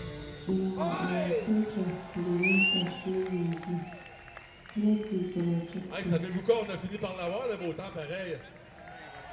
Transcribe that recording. Na our culture dey make us who we be, make we protect am.